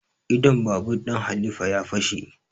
Idon babur ɗin halifa ya fashe